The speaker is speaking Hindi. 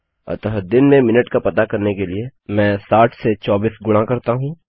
अतः दिन में मिनट का पता करने के लिए मैं 60 से 24 गुणा करता हूँ